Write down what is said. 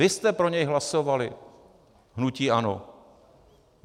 Vy jste pro něj hlasovali, hnutí ANO.